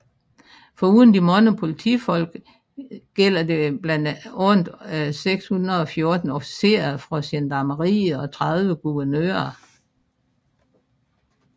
Foruden de mange politifolk gælder det blandt andet 614 officerer fra gendarmeriet og 30 guvernører